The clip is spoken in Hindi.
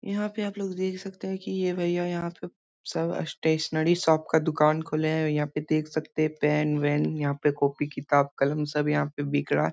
यहाँ पे आप लोग देख सकते हैं की ये भईया यहाँ पे सब स्टेशनरी शोप का दुकान खोले हैं यहाँ पे देख सकते है पेन - वेन यहाँ पे कोपी - किताब कलम सब यहाँ पे बिक रहा।